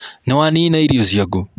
Nĩwanina irio ciaku?